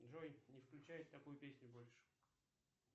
джой не включай такую песню больше